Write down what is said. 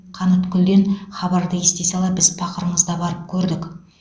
қаныткүлден хабарды ести сала біз пақырыңыз да барып көрдік